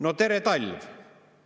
" No tere talv!